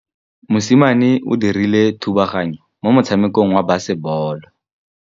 Mosimane o dirile thubaganyô mo motshamekong wa basebôlô.